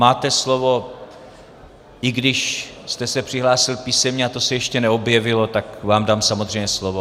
Máte slovo, i když jste se přihlásil písemně, a to se ještě neobjevilo, tak vám dám samozřejmě slovo.